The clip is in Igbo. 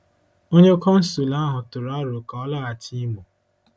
Onye consul ahụ tụrụ aro ka ọ laghachi Imo.